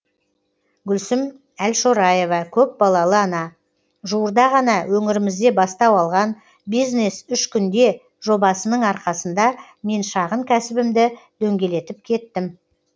гүлсім әлшораева көпбалалы ана жуырда ғана өңірімізде бастау алған бизнес үш күнде жобасының арқасында мен шағын кәсібімді дөңгелетіп кеттім